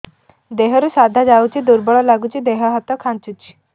ଦେହରୁ ସାଧା ଯାଉଚି ଦୁର୍ବଳ ଲାଗୁଚି ଦେହ ହାତ ଖାନ୍ଚୁଚି